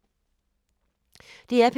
DR P3